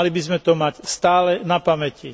Mali by sme to mať stále na pamäti.